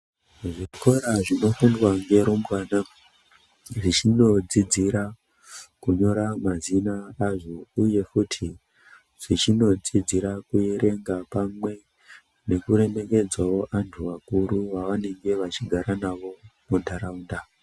Zvikora zvinofundwa ngerumbwana zvichinodzidzira kunyora mazina azvo uye futi dzichinodzidzira kuerenga pamwe nekuremekedzawo antu akuru vavanenge vachigara navo muntaraunda.